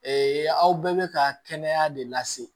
aw bɛɛ bɛ ka kɛnɛya de lase